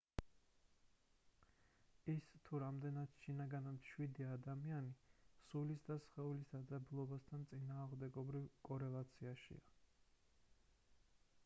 ის თუ რამდენად შინაგანად მშვიდია ადამიანი სულისა და სხეული დაძაბულობასთან წინააღმდეგობრივ კორელაციაშია